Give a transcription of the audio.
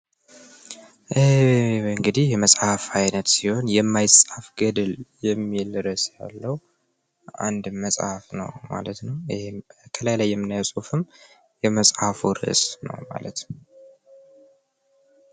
እንግዲህ የመጽሐፍ አይነት የምይጻፍ ገድል የሚል ርዕስ አለው። አንድ መጽሀፍ ነው ማለት ነው። ይህም ከላይ ላይ የምናየው እርስም የመጽሐፉ ርዕስ ነው ማለት ነው።